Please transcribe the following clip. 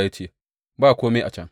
Ya ce, Ba kome a can.